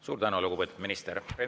Suur tänu, lugupeetud minister!